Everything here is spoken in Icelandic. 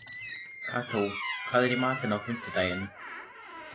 Kató, hvað er í matinn á fimmtudaginn?